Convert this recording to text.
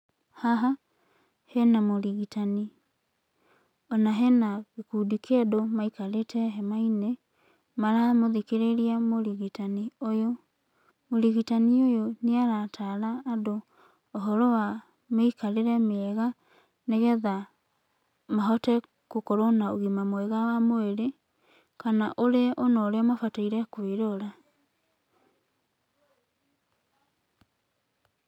Haha hena mũrigitani, ona hena gĩkundi kĩa andũ maikarĩte hema-inĩ maramũthikĩrĩria mũrigitani ũyũ. Mũrigitani ũyũ nĩarataara andũ ũhoro wa mĩikarĩre mĩega nĩgetha mahote gũkorwo na ũgima mwega wa mwĩrĩ, kana ũrĩa ona ũrĩa mabataire kwĩrora.